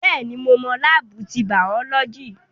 Bẹ́ẹ̀ni, mo mọ láábù ti bàọ́lọ́jì